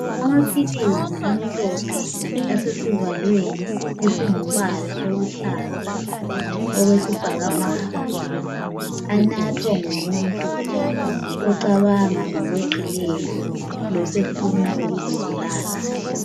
Amaphilizi amhlophe asesivalweni esingumbala oluhlaza okwesibhakabhaka anathwa ngumuntu ocabanga ngokweqileyo losefuna ukuzibulala.